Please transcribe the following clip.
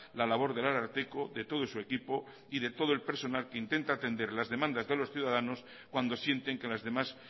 la labor del ararteko de todo su equipo y de todo el personal que intenta atender las demandas de los ciudadanos cuando sienten que las demás